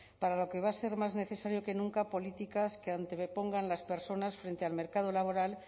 para lo que va a ser más necesario que nunca políticas que antepongan las personas frente al mercado laboral